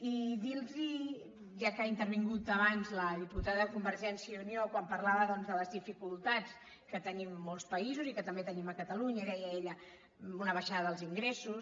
i dir los ja que ha intervingut abans la diputada de convergència i unió quan parlava doncs de les dificultats que tenim molts països i que també tenim a catalunya deia ella una baixada dels ingressos